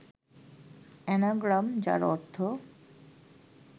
anagram, যার অর্থ